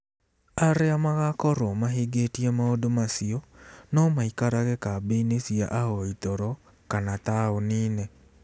Arĩa magaakorũo mahingĩtie maũndũ macio no maikarage kambĩ-inĩ cia ahoi toro kana taũni-inĩ.